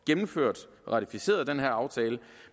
gennemført og ratificeret den her aftale